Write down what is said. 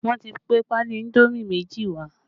Wọn ti gbé pali indomi méjì wá